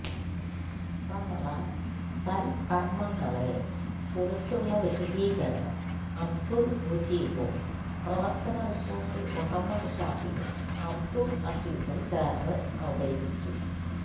റമളാൻ സൽക്കർമ്മങ്ങളെ കുറിച്ചുള്ള വിശദീകരണം അബ്ദുൽ മുജീബും പ്രവർത്തന റിപ്പോർട്ട് മുഹമ്മദ് ഷാഫിയും അബ്ദുൽ അസീസും ചേർന്ന് അവതരിപ്പിച്ചു